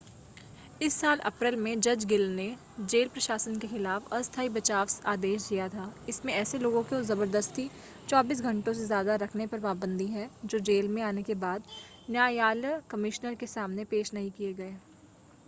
इस साल अप्रैल में जज ग्लिन ने जेल प्रशासन के खिलाफ अस्थाई बचाव आदेश दिया था इसमें ऐसे लोगों को ज़बरदस्ती 24 घंटों से ज़्यादा रखने पर पाबंदी है जो जेल में आने के बाद न्यायलय कमिश्नर के सामने पेश नहीं किए गए